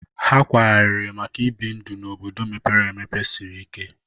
Ha kwaghariri maka na ịbi ndụ n'obodo mepere emepe sịrị ike